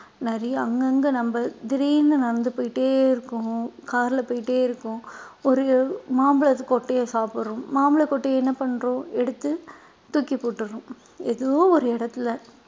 நிறைய அங்கங்க நம்ம திடீர்ன்னு நடந்து போயிட்டே இருக்கோம் car ல போயிட்டே இருக்கோம் ஒரு மாம்பழத்து கொட்டையை சாப்பிடுறோம் மாம்பழ கொட்டையை என்ன பண்றோம் எடுத்து தூக்கி போட்டுடறோம் ஏதோ ஒரு இடத்துல